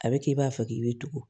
A bɛ kɛ i b'a fɔ k'i bɛ tugu